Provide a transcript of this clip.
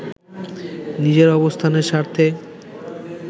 নিজের অবস্থানের স্বার্থে